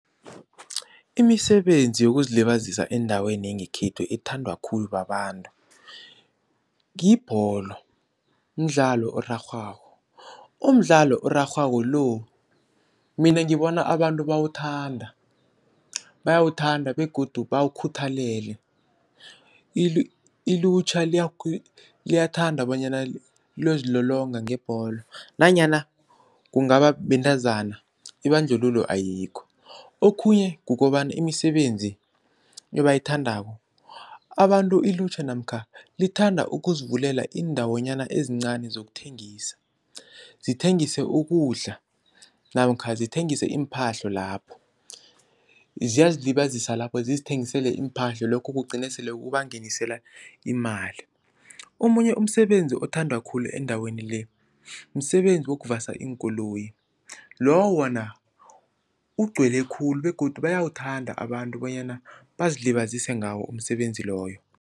Imisebenzi yokuzilibazisa endaweni yangekhethu ethandwa khulu babantu yibholo, mdlalo orarhwako, umdlalo orarhwako lo mina ngibona abantu bawuthanda, bayawuthanda begodu bawukhuthalele. Ilutjha liyathanda bonyana liyozilolonga ngebholo nanyana kungaba bentazana ibandlululo ayikho. Okhunye kukobana imisebenzi ebayithandako abantu ilutjha namkha lithanda ukuzivulela iindawonyana ezincani zokuthengisa, zithengise ukudla namkha zithengise iimphahlo lapho, ziyazilibazisa lapho zizithengisele iimphahlo lokho kugcine sele kubangenisela imali. Omunye umsebenzi othandwa khulu endaweni le, msebenzi wokuvasa iinkoloyi, lowo wona ugcwele khulu begodu bayawuthanda abantu bonyana bazilibazise ngawo umsebenzi loyo.